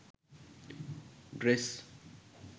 dress